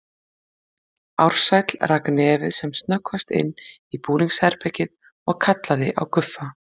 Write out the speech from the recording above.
Ársæll rak nefið sem snöggvast inn í búningsherbergið og kallaði á Guffa.